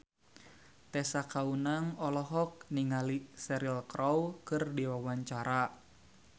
Tessa Kaunang olohok ningali Cheryl Crow keur diwawancara